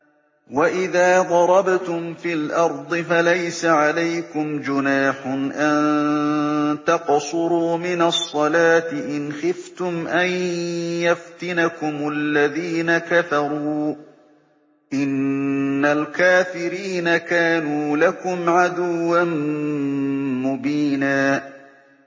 وَإِذَا ضَرَبْتُمْ فِي الْأَرْضِ فَلَيْسَ عَلَيْكُمْ جُنَاحٌ أَن تَقْصُرُوا مِنَ الصَّلَاةِ إِنْ خِفْتُمْ أَن يَفْتِنَكُمُ الَّذِينَ كَفَرُوا ۚ إِنَّ الْكَافِرِينَ كَانُوا لَكُمْ عَدُوًّا مُّبِينًا